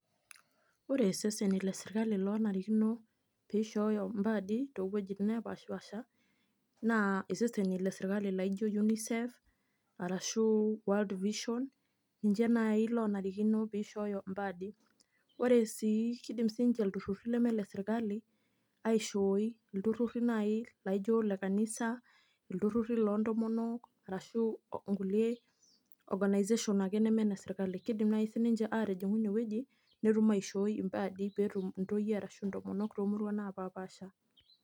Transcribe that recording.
Ore iseseni le sirkali lonarikino pishooyo impaadi towuejiting nepashipaasha, naa iseseni le sirkali laijo Unicef, arashu World Vision, ninche nai lonarikino pishooyo mpaadi. Ore si kidim sinche ilturrurri leme lesirkali, aishooi. Ilturrurri nai laijo le kanisa, ilturrurri loontomonok, arashu nkulie organisation ake neme ne serkali. Kidim nai sinche atijing'u inewueji, netum aishooi impaadi petum intoyie ashu intomonok tomuruan napapaasha.